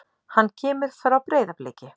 Hann kemur frá Breiðabliki.